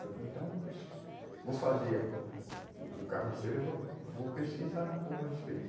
Falei, então vou fazer o o o carroceiro e vou, vou pesquisar um pouco a respeito.